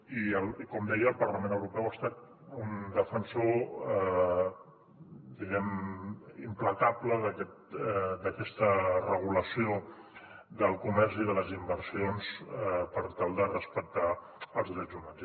i com deia el parlament europeu ha estat un defensor implacable d’aquesta regulació del comerç i de les inversions per tal de respectar els drets humans